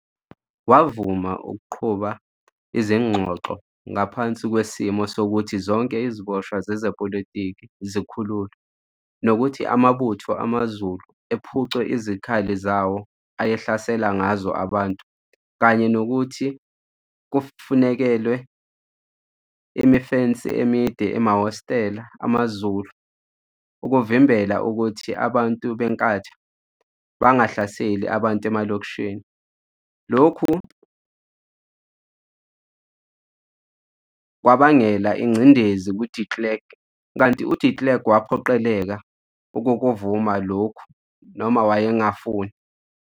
Wavuma ukuqhuba izingxoxo ngaphansi kwesimo sokuthi zonke iziboshwa zezepolitiki zikhululwe, nokuthi amabutho amazulu ephucwe izikhali zawo ayehlasela ngazo abantu, kanye nokuthi kufanekelwe imifensi emide emahhositela amaZulu, ukuvimbela ukuthi abantu beNkatha bangahlaseli abantu emalokishini, lokhu kwabangela ingcindezi kuDe Klerk, kanti uDe Klerk waphoqeleka ukukuvuma lokhu noma wayengafuni.